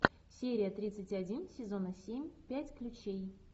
серия тридцать один сезона семь пять ключей